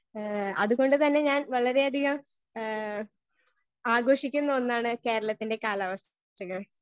Speaker 1 ഏ അത് കൊണ്ട് തന്നെ ഞാൻ വളരെ അധികം ഏ ആഘോഷിക്കുന്ന ഒന്നാണ് കേരളത്തിന്റെ കാലാവസ്ഥകൾ.